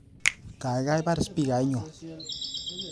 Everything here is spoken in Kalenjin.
Gaigai baar spikainyu